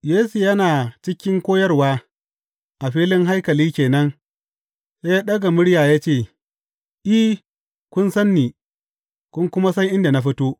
Yesu yana cikin koyarwa a filin haikali ke nan, sai ya ɗaga murya ya ce, I, kun san ni, kun kuma san inda na fito.